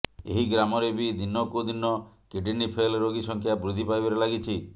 ଏହି ଗ୍ରାମରେ ବି ଦିନକୁ ଦିନ କିଡ଼ନି ଫେଲ୍ ରୋଗୀ ସଂଖ୍ୟା ବୃଦ୍ଧି ପାଇବାରେ ଲାଗିଛି